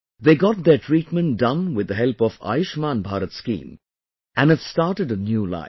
They got their treatment done with the help of Ayushman Bharat scheme and have started a new life